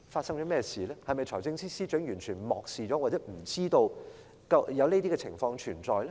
是否財政司司長完全漠視了或不知道有這些問題存在？